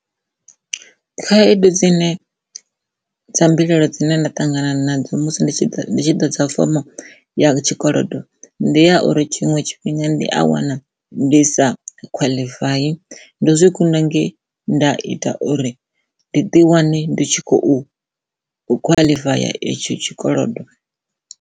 Khaedu dzine dza mbilaelo dzine nda ṱangana nadzo musi ndi tshi ḓo dza fomo ya tshikolodo ndi ya uri tshiṅwe tshifhinga ndi a wana ndi sa khwaḽifaye ndo zwi kunda nge nda ita uri ndi ḓi wane ndi tshi khou khwaḽifaye ya itsho tshikolodo.